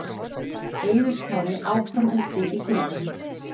Eiður Smári áfram úti í kuldanum